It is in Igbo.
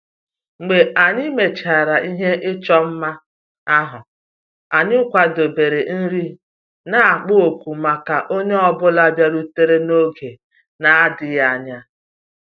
Mgbe anyị mechara ihe ịchọ mma ahụ, anyị kwadebere nri na-ekpo ọkụ maka onye ọ bụla bịarutere n'oge na-adịghị anya